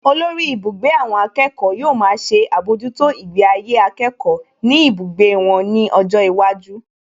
Olórí ibùgbé àwọn akẹ́kọ̀ọ́ yóò máa ṣe àbójútó ìgbé ayé akẹ́kọ̀ọ́ ní ibùgbé wọn ní ọjọ́ iwájú